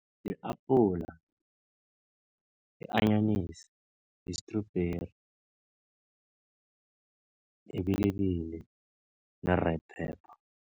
I-apula, i-anyanisi, yi-strubheri, yibilibili, ne-red pepper.